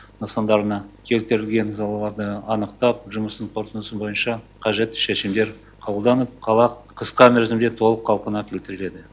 нысандарына келтірілген залаларды анықтап жұмыстың қорытындысы бойынша қажетті шешімдер қабылданып қала қысқа мерзімде толық қалпына келтіріледі